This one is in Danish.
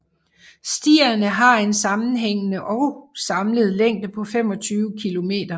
Stierne har en sammenhængende og samlet længde på 25 kilometer